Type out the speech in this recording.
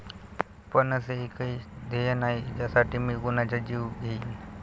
पण असे एकही ध्येय नाही ज्यासाठी मी कुणाचा जीव घेईन.